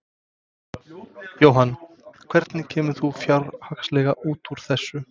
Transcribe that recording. Jóhann: Hvernig kemur þú fjárhagslega út úr þessu?